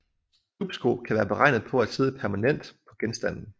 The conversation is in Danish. Dupsko kan være beregnet på at sidde permanent på genstanden